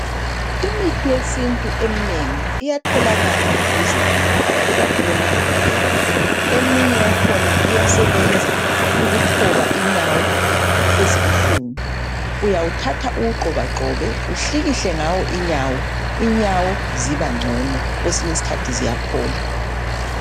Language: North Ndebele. Imithi yesintu eminengi iyatholakala duze lemakhaya ikakhulu emadolobheni. Eminye yakhona iyasebenza ukuthoba inyawo ezibuhlungu. Uyawuthatha uwugxobagxobe uhlikihle ngawo inyawo. Inyawo zibangcono kwesinye isikhathi ziyaphola.